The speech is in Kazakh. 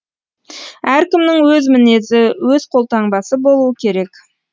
әркімнің өз мінезі өз қолтаңбасы болуы керек